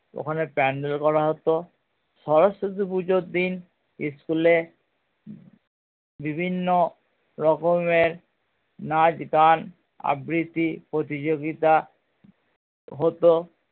ওখানে pandel করা হতো সরস্বতী পুজোর দিন school এ বিভিন্ন রকমের নাঁচ গান আবৃত্তি প্রতিযোগিতা হতো